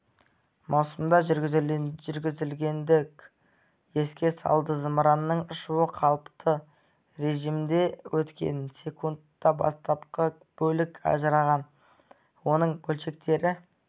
маусымда жүргізілгендігін еске салды зымыранның ұшуы қалыпты режімде өткен секундта бастапқы бөлік ажыраған оның бөлшектері